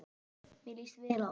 Mér líst vel á það.